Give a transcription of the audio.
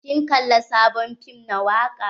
Kin kalla sabon fim na waka?